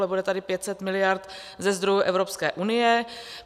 Ale bude tady 500 miliard ze zdrojů Evropské unie.